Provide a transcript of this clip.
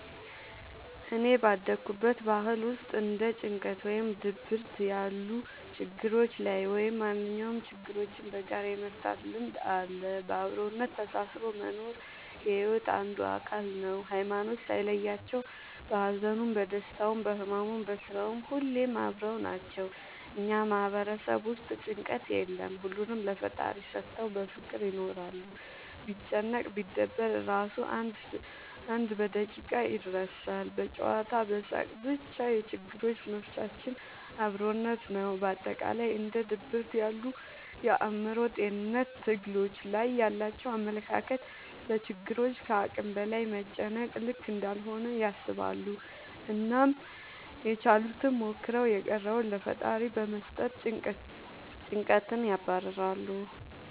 እኔ ባደኩበት ባህል ውስጥ እንደ ጭንቀት ወይም ድብርት ያሉ ላይ ወይም ማንኛውም ችግሮችን በጋራ የመፍታት ልምድ አለ። በአብሮነት ተሳስሮ መኖር የሒወት አንዱ አካል ነው። ሀይማኖት ሳይለያቸው በሀዘኑም በደስታውም በህመሙም በስራውም ሁሌም አብረው ናቸው። እኛ ማህበረሰብ ውስጥ ጭንቀት የለም ሁሉንም ለፈጣሪ ሰተው በፍቅር ይኖራሉ። ቢጨነቅ ቢደበር እራሱ አንድ በደቂቃ ይረሳል በጨዋታ በሳቅ በቻ የችግሮች መፍቻችን አብሮነት ነው። በአጠቃላይ እንደ ድብርት ያሉ የአእምሮ ጤንነት ትግሎች ላይ ያላቸው አመለካከት ለችግሮች ከአቅም በላይ መጨነቅ ልክ እንዳልሆነ ያስባሉ አናም ያችሉትን ሞክረው የቀረውን ለፈጣሪ በመስጠት ጨንቀትን ያባርራሉ።